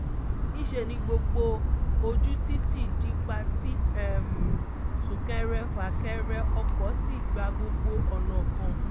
níṣẹ́ ni gbogbo ojú títí di pa tí sún-kẹrẹ-fà-kẹrẹ ọkọ̀ sì gba gbogbo ọ̀nà kan